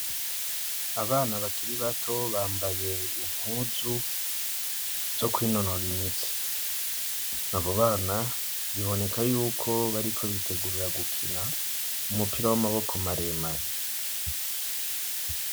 Abana bakiri bato bambaye impuzu zo kwinonora imitsi; abo bana biboneka yuko bariko bitegurira gukina umupira w'amaboko maremare.